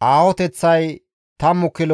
10 kilo metire aaho gido.